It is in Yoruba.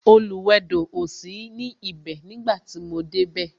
Oluwedo o sí ní ibè nígbà tí mo dé bẹ